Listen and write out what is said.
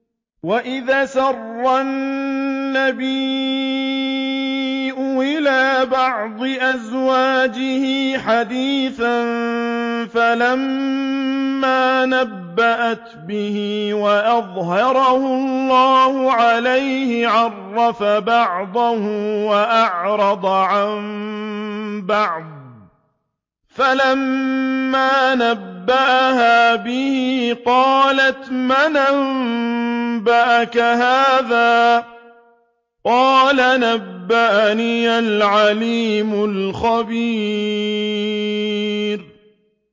وَإِذْ أَسَرَّ النَّبِيُّ إِلَىٰ بَعْضِ أَزْوَاجِهِ حَدِيثًا فَلَمَّا نَبَّأَتْ بِهِ وَأَظْهَرَهُ اللَّهُ عَلَيْهِ عَرَّفَ بَعْضَهُ وَأَعْرَضَ عَن بَعْضٍ ۖ فَلَمَّا نَبَّأَهَا بِهِ قَالَتْ مَنْ أَنبَأَكَ هَٰذَا ۖ قَالَ نَبَّأَنِيَ الْعَلِيمُ الْخَبِيرُ